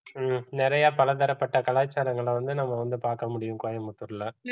ஹம் நிறைய பலதரப்பட்ட கலாச்சாரங்களை வந்து நம்ம வந்து பார்க்க முடியும் கோயம்புத்தூர்ல